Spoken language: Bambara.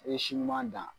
I ye si ɲuman dan